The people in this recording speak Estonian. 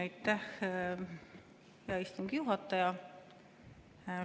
Aitäh, hea istungi juhataja!